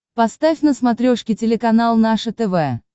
поставь на смотрешке телеканал наше тв